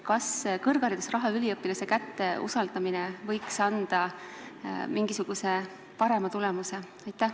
Kas kõrgharidusraha üliõpilase kätte usaldamine võiks anda parema tulemuse?